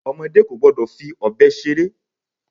Ọmọdé kò gbọ́dọ̀ fi ọbẹ̀ ṣeré.